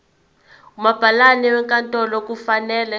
umabhalane wenkantolo kufanele